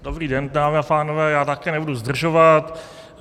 Dobrý den, dámy a pánové, já také nebudu zdržovat.